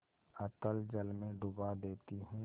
अतल जल में डुबा देती हूँ